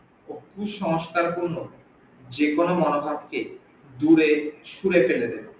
ও কুসংস্কার পূর্ণ যেকোনো মন ভাবকে দূরে ছুড়ে ফেলে দেবে।